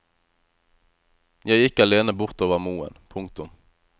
Jeg gikk alene bort over moen. punktum